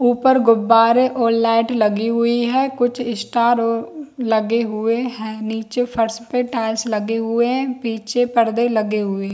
उपर गुब्बारे और लाइट लगी हुई है कुछ स्टार लगे हुए है निचे फर्श पर टाइल्स लगे हुए है पीछे पर्दे लगे हुए है।